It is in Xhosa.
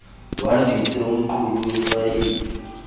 lwandise umqulu wefayile